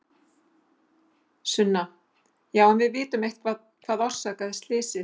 Sunna: Já en vitum við eitthvað hvað orsakaði slysið?